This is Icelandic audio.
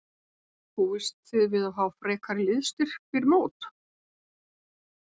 Búist þið við að fá frekari liðsstyrk fyrir mót?